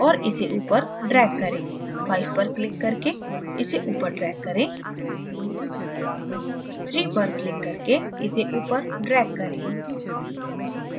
5 पर click करके इसे ऊपर drag करें 3 पर click करके इसे ऊपर drag करें